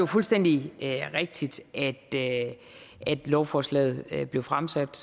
fuldstændig rigtigt at lovforslaget blev blev fremsat